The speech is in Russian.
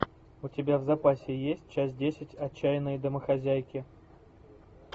у тебя в запасе есть часть десять отчаянные домохозяйки